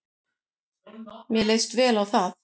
Mér leist vel á það.